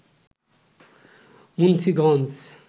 Munshiganj